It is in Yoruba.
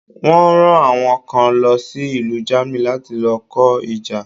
Wọ́n ran àwọn kan lo sí ìlú Germany láti lo kó ìjà